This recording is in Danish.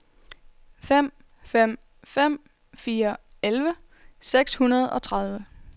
fem fem fem fire elleve seks hundrede og tredive